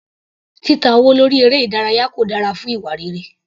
Títa owó lórí eré ìdárayá kò dára fún ìwà rere.